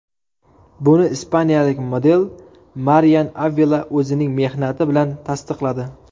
Buni ispaniyalik model Marian Avila o‘zining mehnati bilan tasdiqladi.